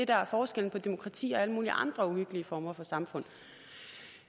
der er forskellen på demokrati og alle mulige andre uhyggelige former for samfund